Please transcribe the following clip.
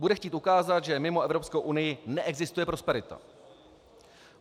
Bude chtít ukázat, že mimo Evropskou unii neexistuje prosperita.